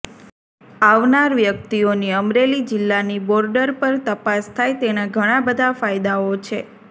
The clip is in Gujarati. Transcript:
આવનાર વ્યકિતઓની અમરેલી જીલ્લાની બોર્ડર પર તપાસ થાય તેના ઘણા બધા ફાયદાઓ છે